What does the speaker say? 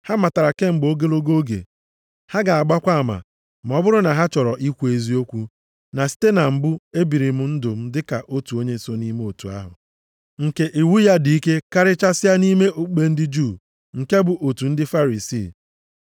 Ha matara kemgbe ogologo oge, ha ga-agbakwa ama, ma ọ bụrụ na ha chọrọ ikwu eziokwu, na site na mbụ e biri m ndụ dịka otu onye so nʼime otu ahụ nke iwu ya dị ike karịchasịa nʼime okpukpe ndị Juu, nke bụ otu ndị Farisii.